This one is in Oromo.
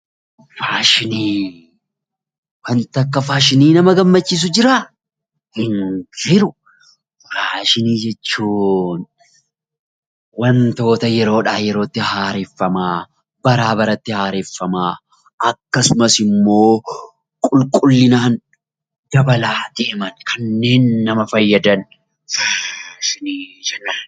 Wanti akka faashinii nama gammachiisu jira! Hin jiru! Faashinii jechuun wantoota yeroodhaa yerootti yookiin baraa baratti haareffamaa, akkasumas immoo qulqullinaan dabalaa deeman kanneen nama fayyadan faashinii jenna.